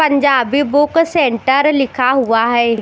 Punjabi book centre लिखा हुआ है।